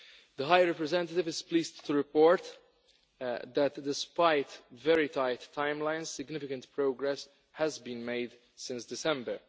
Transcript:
The High Representative is pleased to report that, despite very tight timelines, significant progress has been made since December.